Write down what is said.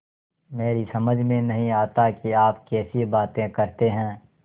मेरी समझ में नहीं आता कि आप कैसी बातें करते हैं